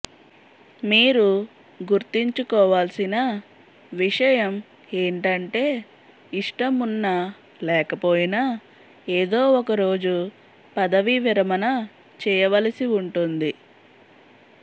మీరు గుర్తుంచుకోవాల్సిన విషయం ఏంటంటే ఇష్టం ఉన్నా లేకపోయినా ఏదో ఒకరోజు పదవీ విరమణ చేయవలసి ఉంటుంది